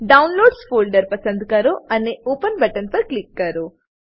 downloads folder પસંદ કરો અને ઓપન બટન પર ક્લિક કરો